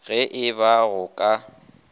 ge e ba go ka